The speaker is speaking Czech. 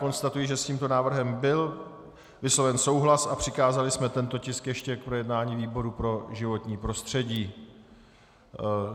Konstatuji, že s tímto návrhem byl vysloven souhlas a přikázali jsme tento tisk ještě k projednání výboru pro životní prostředí.